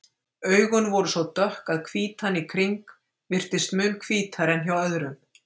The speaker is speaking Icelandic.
Augun voru svo dökk að hvítan í kring virtist mun hvítari en hjá öðrum.